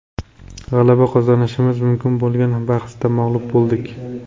G‘alaba qozonishimiz mumkin bo‘lgan bahsda mag‘lub bo‘ldik.